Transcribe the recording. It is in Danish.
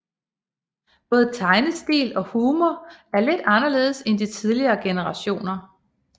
Både tegnestil og humor er lidt anderledes end de tidligere generationer